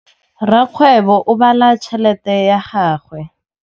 Rakgwêbô o bala tšheletê ya gagwe.